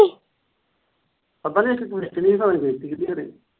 ਪਤਾ ਨੀ ਇੱਕ ਚਲੀ ਗਈ ਪਤਾ ਨੀ ਬੇਚਤੀ ਕੀਹਦੇ ਘਰੇ।